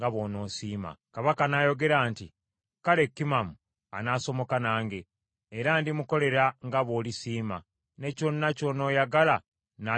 Kabaka n’ayogera nti, “Kale Kimamu anaasomoka nange, era ndimukolera nga bw’olisiima; ne kyonna ky’onooyagala n’akikukolera.”